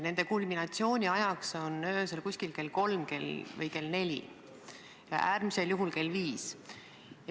Nende kulminatsioon on öösel kell kolm või kell neli, äärmisel juhul kell viis.